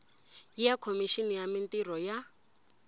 ya khomixini ya mintirho ya